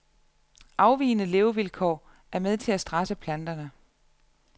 Afvigende levevilkår er med til at stresse planterne.